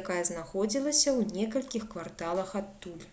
якая знаходзілася ў некалькіх кварталах адтуль